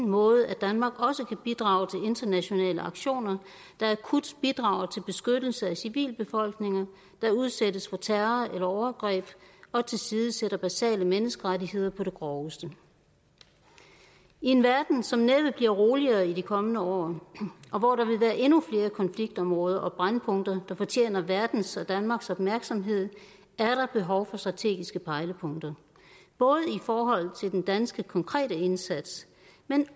måde at danmark også kan bidrage til internationale aktioner der akut bidrager til beskyttelse af civilbefolkninger der udsættes for terror eller overgreb og tilsidesættelse af basale menneskerettigheder på det groveste i en verden som næppe bliver roligere i de kommende år og hvor der vil være endnu flere konfliktområder og brændpunkter der fortjener verdens og danmarks opmærksomhed er der behov for strategiske pejlepunkter både i forhold til den danske konkrete indsats men